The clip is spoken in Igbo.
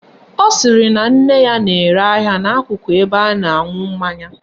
Ọ sịrị na nne ya na-ere ahịa n'akụkụ ụlọ ebe a na-aṅụ mmanya